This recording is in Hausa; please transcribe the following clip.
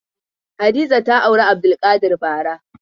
Hadiza ta auri Abdulkadir bara.